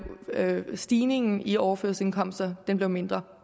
stigningen i overførselsindkomsterne mindre